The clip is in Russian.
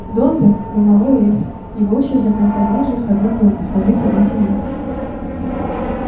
добби домовый эльф его участь до конца дней жить в одном доме служить одной семье